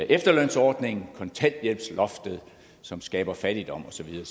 efterlønsordningen kontanthjælpsloftet som skaber fattigdom og så videre